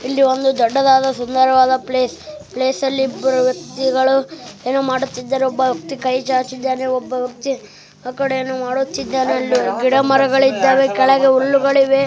ಇಲ್ಲಿ ಒಂದು ದೊಡ್ಡವಾದ ಸುಂದರವಾದ ಪ್ಲೇಸ್ ಪ್ಲೇಸ್ ಅಲ್ಲಿ ಇಬ್ಬರು ವ್ಯಕ್ತಿಗಳು ಏನೊ ಮಾಡುತ್ತಿದ್ದರು ಒಬ್ಬ ವ್ಯಕ್ತಿ ಕೈ ಚಚಿದ್ದಾನೆ ಒಬ್ಬ ವ್ಯಕ್ತಿ ಆಕಡೆ ಏನೊ ಮಾಡುತಿದ್ದಾನೆ ಅಲ್ಲಿ ಗಿಡ ಮರಗಳು ಇದ್ದವೆ ಕೆಳಗಡೆ ಹುಲ್ಲುಗಳು ಇವೆ.